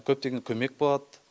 көптеген көмек болады